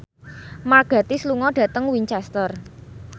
Mark Gatiss lunga dhateng Winchester